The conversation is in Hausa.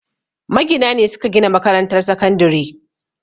Magina ne suke gina makarantar sakandire